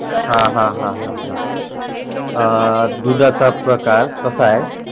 हा हा हा अं दुधाचे प्रकार कस आहे